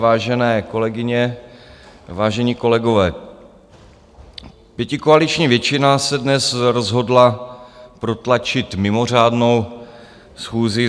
Vážené kolegyně, vážení kolegové, pětikoaliční většina se dnes rozhodla protlačit mimořádnou schůzi.